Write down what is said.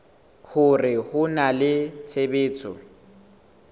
hore ho na le tshebetso